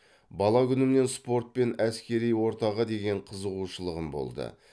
бала күнімнен спорт пен әскери ортаға деген қызығушылығым болды